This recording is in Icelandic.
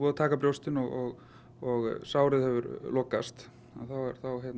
að taka brjóstið og og sárið hefur lokast þá er